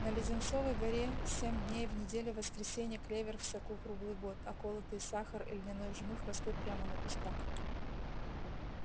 на леденцовой горе семь дней в неделю воскресенье клевер в соку круглый год а колотый сахар и льняной жмых растут прямо на кустах